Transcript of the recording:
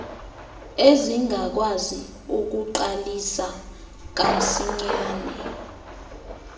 ezingakwazi ukuqalisa kamsinyane